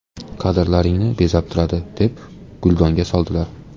Kadrlaringni bezab turadi”, deb guldonga soldilar.